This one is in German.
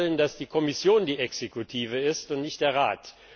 Wir wollen, dass die Kommission die Exekutive ist und nicht der Rat.